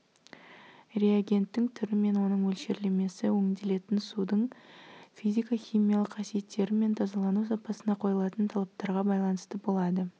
реагенттің түрі мен оның мөлшерлемесі өңделетін судың физика-химиялық қасиеттері мен тазалану сапасына қойылатын талаптарға байланысты болады